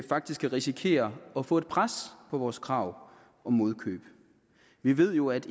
faktisk kan risikere at få et pres på vores krav om modkøb vi ved jo at